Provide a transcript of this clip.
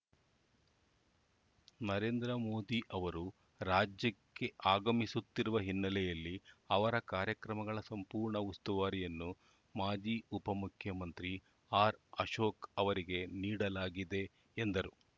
ನರೇಂದ್ರ ಮೋದಿ ಅವರು ರಾಜ್ಯಕ್ಕೆ ಆಗಮಿಸುತ್ತಿರುವ ಹಿನ್ನೆಲೆಯಲ್ಲಿ ಅವರ ಕಾರ್ಯಕ್ರಮಗಳ ಸಂಪೂರ್ಣ ಉಸ್ತುವಾರಿಯನ್ನು ಮಾಜಿ ಉಪಮುಖ್ಯಮಂತ್ರಿ ಆರ್‌ಅಶೋಕ್‌ ಅವರಿಗೆ ನೀಡಲಾಗಿದೆ ಎಂದರು